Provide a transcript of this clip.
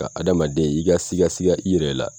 Ga adamaden i ka siga siga i yɛrɛ la